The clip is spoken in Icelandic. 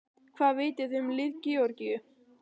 Hvað vitið þið um lið Georgíu?